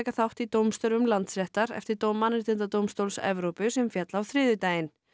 þátt í dómstörfum Landsréttar eftir dóm Mannréttindadómstóls Evrópu sem féll á þriðjudaginn